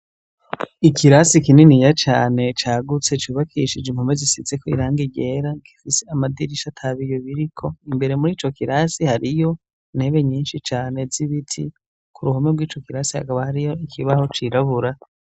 Ikirasi kininiya cane cagutse, cubakishije impome zisizeko irangi ryera, rifise amadirisha n'ibiyo biriko, imbere muri ico kirasi hariyo intebe nyinshi cane z'ibiti ku ruhome rw'ico kirasi hakabo hariyo ikibaho cirabura.